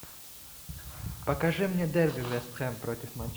покажи мне дерби вест хэм против